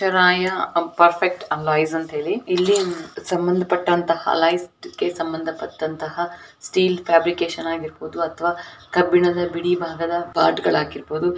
ಏಳು. ಆಯಾ ಅಪ್ಪ ಅಂತ ಹೇಳಿ ಇಲ್ಲಿ ಸಂಬಂಧಪಟ್ಟಂತಹ ಇದಕ್ಕೆ ಸಂಬಂಧಪಟ್ಟಂತಹ ಸ್ಟೀಲ್ ಫ್ಯಾಬ್ರಿಕೇಷನ್ ಆಗಿರಬಹುದು ಅಥವಾ ಕಬ್ಬಿಣದ ಬಿಡಿಭಾಗಗಳು ಆಗಿರಬಹುದು.